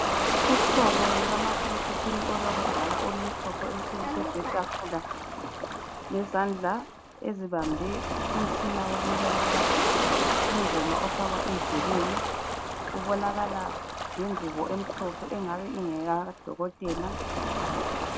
Uhlobo lukamakhalekhukhwini olwakudala olumhlophe oluhleli phezu kwetafula lezandla ezibambe umtshina wokulalela ingoma ofakwa endlebeni. Kubonakala lengubo emhlophe engabe ingekadokotela.